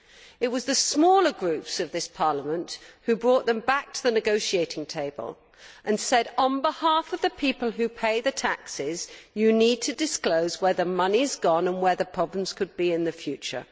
It was the smaller groups of this Parliament who brought them back to the negotiating table and said on behalf of the people who paid the taxes that they needed to disclose where the money had gone and where there could be problems in the future.